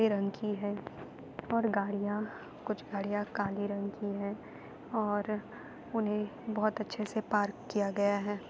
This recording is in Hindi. रंग की है और गाड़ियां कुछ गाड़ियां काले रंग की है और उन्हें बहुत अच्छे से पार्क किया गया है।